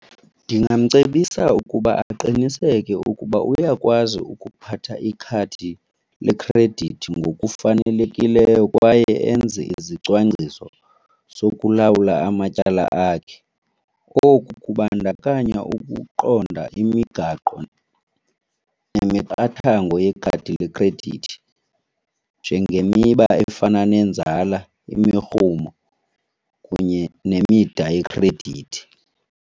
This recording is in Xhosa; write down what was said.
Ndingamcebisa ukuba aqiniseke ukuba uyakwazi ukuphatha ikhadi lekhredithi ngokufanelekileyo kwaye enze izicwangciso sokulawula amatyala akhe. Oku kubandakanya ukuqonda imigaqo nemiqathango yekhadi lekhredithi njengemiba efana nenzala, imirhumo kunye nemida yekhredithi.